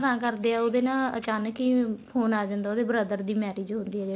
ਮਨਾ ਤਾਂ ਕਰਦੇ ਏ ਉਹਦੇ ਨਾ ਅਚਾਕਨ ਹੀ ਫੋਨ ਆ ਜਾਂਦਾ ਉਹਦੇ brother ਦੀ marriage ਹੁੰਦੀ ਆ ਜਿਹੜੀ